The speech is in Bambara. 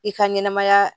I ka ɲɛnɛmaya